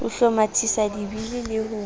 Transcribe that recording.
ho hlomathisa dibili le ho